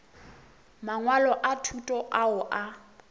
mangwalo a thuto ao a